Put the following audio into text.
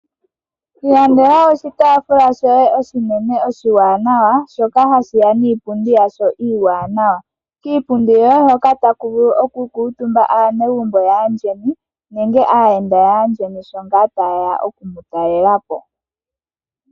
Ilandela oshitaafula shoye oshinene oshiwaanawa shoka hashi ya niipundi yasho iiwanawa. Kiipundi yoye hoka otaku vulu okukuutumba aanegumbo yaandjeni nenge aayenda yaandjeni shi ngaa taye ya oku mu talela po.